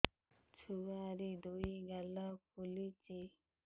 ଛୁଆର୍ ଦୁଇ ଗାଲ ଫୁଲିଚି